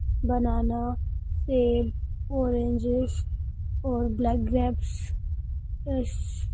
बानाना सेब ऑरेंजेस और black grapes